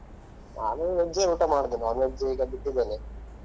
ನಾನು veg ಜೆ ಊಟ ಮಾಡುದು non veg ಈಗ ಬಿಟ್ಟಿದ್ದೇನೆ.